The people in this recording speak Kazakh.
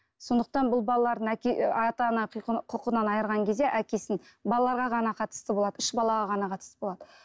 сондықтан бұл балалардың ата ана құқынан айырған кезде әкесін балаларға ғана қатысты болады үш балаға ғана қатысты болады